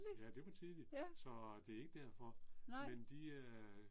Ja det var tidligt. Så det er ikke derfor. Men de øh